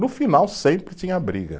No final, sempre tinha briga.